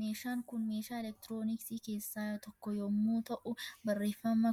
Meeshaan Kun meeshaa elektirooniksii keessaa tokko yommuu ta'u barreffama